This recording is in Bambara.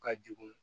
Ka jugun